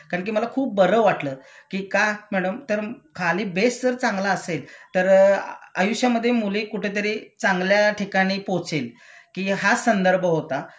कारण कि मला खूप बरं वाटलं कि का मॅडम तर खाली बेस जर चांगला असेल तर आयुष्यामधे मुले कुठंतरी चांगल्या ठिकाणी पोहोचेल कि हाच संदर्भ होता